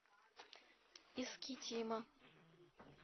искитима